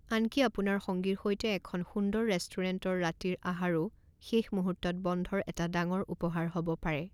আনকি আপোনাৰ সঙ্গীৰ সৈতে এখন সুন্দৰ ৰেষ্টুৰেণ্টত ৰাতিৰ আহাৰও শেষ মুহূৰ্তত বন্ধৰ এটা ডাঙৰ উপহাৰ হ'ব পাৰে।